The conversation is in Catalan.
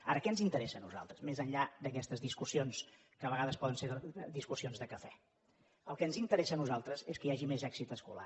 ara què ens interessa a nosaltres més enllà d’aquestes discussions que a vegades poden ser discussions de cafè el que ens interessa a nosaltres és que hi hagi més èxit escolar